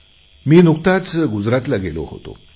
मी नुकताच गुजरातला गेलो होतो